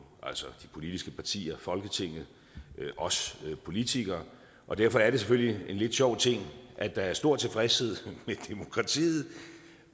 altså de politiske partier folketinget os politikere og derfor er det selvfølgelig en lidt sjov ting at der er stor tilfredshed med demokratiet